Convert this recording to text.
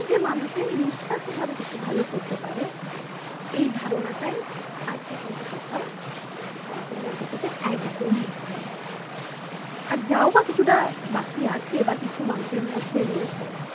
যে মানুষের নিঃস্বার্থভাবে কিছু ভালো করতে পারে এই ধারণাটাই আজকে কিন্তু কোথাও আমাদের মধ্যে থেকে একদম মুছে গেছে আর যাও বা কিছুটা বাকি আছে বা কিছু মানুষের মধ্যে রয়েছে